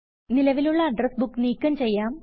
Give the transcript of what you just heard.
നിലവിലുള്ള address book നീക്കം ചെയ്യാം